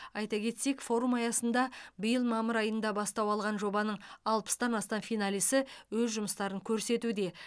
айта кетсек форум аясында биыл мамыр айында бастау алған жобаның алпыстан астам финалисі өз жұмыстарын көрсетуде